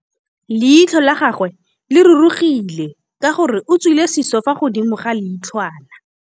Leitlhô la gagwe le rurugile ka gore o tswile sisô fa godimo ga leitlhwana.